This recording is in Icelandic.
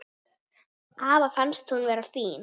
Afa fannst hún vera fín.